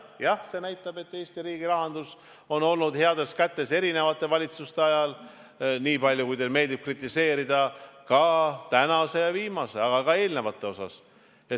Jah, see näitab, et Eesti riigirahandus on olnud heades kätes eri valitsuste ajal, ükskõik kui palju teile meeldib kritiseerida, ka tänase ja eelmise, aga ka eelnevate ajal.